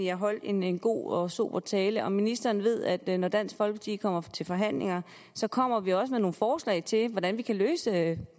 jeg holdt en en god og sober tale og ministeren ved at når dansk folkeparti kommer til forhandlinger kommer vi også med nogle forslag til hvordan vi kan løse